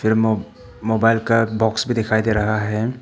मो मोबाइल का बॉक्स भी दिखाई दे रहा है।